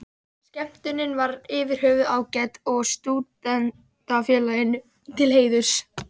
Skemmtunin var yfir höfuð ágæt og Stúdentafélaginu til heiðurs.